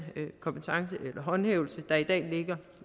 håndhævelse der i dag